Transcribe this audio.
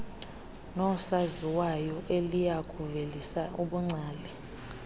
noosaziwayo eliyakuvelisa ubungcali